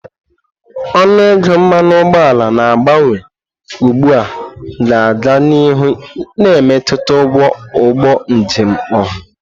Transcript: Ọnụ ego mmanụ ụgbọala na-agbanwe ugbu a ga-aga n'ihu na-emetụta ụgwọ ụgbọ njem ọha.